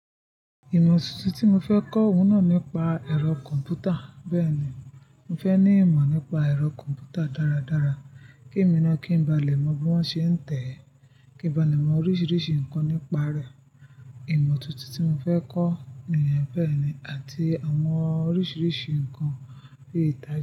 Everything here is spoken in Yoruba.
Ìmọ̀ tuntun tí mo fẹ́ kọ́ oun naa nípa ẹ̀rọ kọ̀m̀pútà. Bẹ́ẹ̀ni, mo fẹ́ ní ìmọ̀ nípa ẹ̀rọ kọ̀m̀pútà dáradára, kí emi naa kí n ba lè mọ bí wọ́n ṣe ń tẹ̀ ẹ́, kí n ba lè mọ oríṣiríṣi nǹkan nípa rẹ̀. Ìmọ̀ tuntun tí mo fẹ́ kọ́ nìyẹn bẹ́ẹ̀ni àti àwọn oríṣiríṣi nǹkan bí i ìta.